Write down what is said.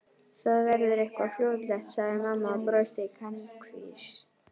Það verður eitthvað fljótlegt sagði mamma og brosti kankvís.